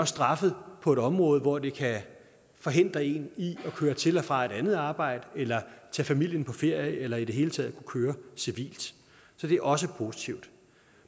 straffet på et område hvor det kan forhindre en i at køre til og fra et andet arbejde eller tage familien på ferie eller i det hele taget køre civilt så det er også positivt